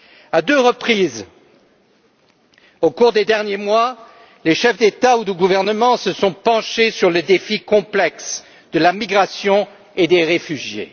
À deux reprises au cours des derniers mois, les chefs d'État ou de gouvernement se sont penchés sur les défis complexes de la migration et des réfugiés.